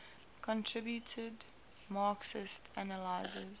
contributed marxist analyses